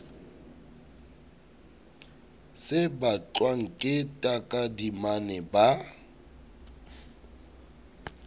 se batlwang ke takadimane ba